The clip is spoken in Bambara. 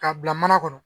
K'a bila mana kɔnɔ